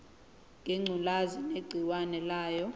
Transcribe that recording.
ngengculazi negciwane layo